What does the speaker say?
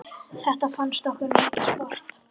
Þetta fannst okkur mikið sport.